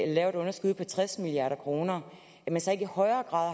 laver et underskud på tres milliard kr så ikke i højere grad